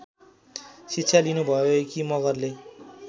शिक्षा लिनुभएकी मगरले